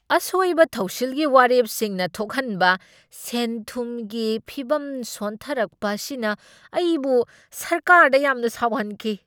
ꯑꯁꯣꯏꯕ ꯊꯧꯁꯤꯜꯒꯤ ꯋꯥꯔꯦꯞꯁꯤꯡꯅ ꯊꯣꯛꯍꯟꯕ ꯁꯦꯟꯊꯨꯝꯒꯤ ꯐꯤꯕꯝ ꯁꯣꯟꯊꯔꯛꯄ ꯑꯁꯤꯅ ꯑꯩꯕꯨ ꯁꯔꯀꯥꯔꯗ ꯌꯥꯝꯅ ꯁꯥꯎꯍꯟꯈꯤ꯫